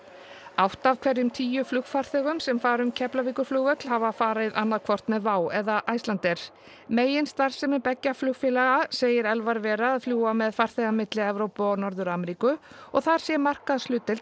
átta af hverjum tíu flugfarþegum sem fara um Keflavíkurflugvöll hafa farið annaðhvort með WOW eða Icelandair meginstarfsemi beggja flugfélaga segir Elvar vera að fljúga með farþega milli Evrópu og Norður Ameríku og þar sé markaðshlutdeild